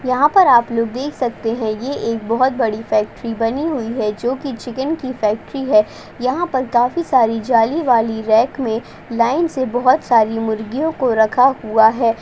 यहां पर आप लोग देख सकते हैं ये एक बोहोत बड़ी फैक्ट्री बनी हुई है जो कि चिकन की फैक्ट्री है। यहां पर काफी सारी जाली वाली ट्रैक में लाइन से बहोत सारी मुर्गियों को रखा हुआ है।